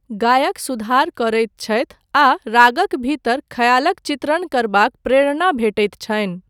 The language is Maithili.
गायक सुधार करैत छथि आ रागक भीतर खयालक चित्रण करबाक प्रेरणा भेटैत छनि।